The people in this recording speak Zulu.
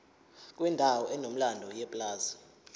kwendawo enomlando yepulazi